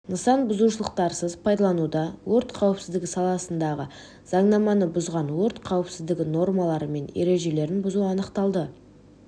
нысан бұзушылықтарсыз пайдаланылуда өрт қауіпсіздігі саласындағы заңнаманы бұзған өрт қауіпсіздігі нормалары мен ережелерін бұзу анықталды